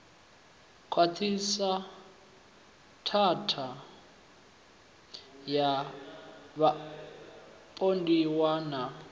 khwaṱhiswa tshatha ya vhapondiwa na